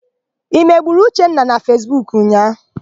I megburu Uchenna na Fesbuku ụnyaahụ?